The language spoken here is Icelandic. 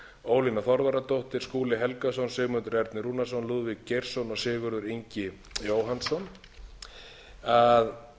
ólína þorvarðardóttir skúli helgason sigmundur ernir rúnarsson lúðvík geirsson og sigurður ingi jóhannsson að